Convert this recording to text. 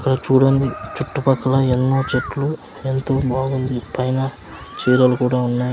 ఇక్కడ చూడండి చుట్టుపక్కల ఎన్నో చెట్లు వెల్తురు బాగుంది పైన చీరలు కూడా ఉన్నాయి.